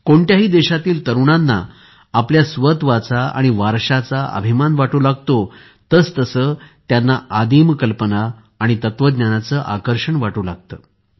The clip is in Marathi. कोणत्याही देशातील तरुणांना आपल्या स्वत्वाचा आणि वारशाचा अभिमान वाटू लागतो तसतसे त्यांना आदिम कल्पना आणि तत्त्वज्ञानाचे आकर्षण वाटू लागते